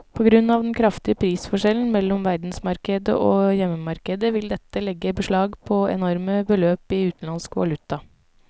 På grunn av den kraftige prisforskjellen mellom verdensmarkedet og hjemmemarkedet vil dette legge beslag på enorme beløp i utenlandsk valuta.